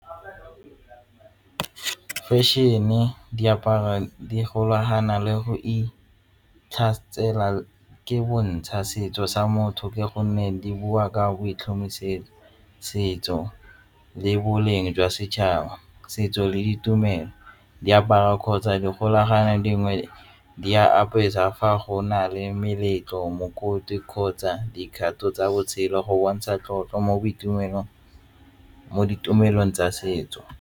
Fashion-e di golagana le go itlhamela ke bontsha setso sa motho ka gonne di bua ka setso le boleng jwa setšhaba setso le ditumelo di apara kgotsa dikgolagano dingwe di a apeiwa fa go na le meletlo, mokoti kgotsa dikgato tsa botshelo go bontsha tlotlo mo ditumelong tsa setso.